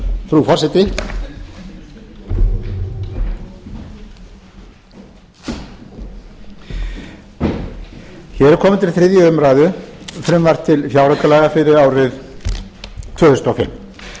frú forseti hér er komið til þriðju umræðu frumvarp til fjáraukalaga fyrir árið tvö þúsund og fimm